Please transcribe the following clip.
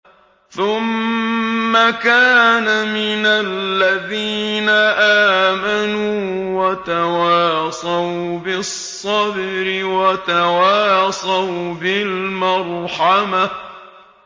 ثُمَّ كَانَ مِنَ الَّذِينَ آمَنُوا وَتَوَاصَوْا بِالصَّبْرِ وَتَوَاصَوْا بِالْمَرْحَمَةِ